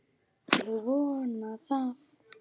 Ég vona það.